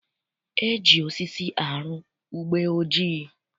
E ji osisi arụ ugbeojii